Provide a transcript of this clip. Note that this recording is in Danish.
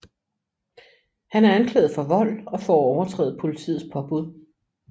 Han er anklaget for vold og for at overtræde politiets påbud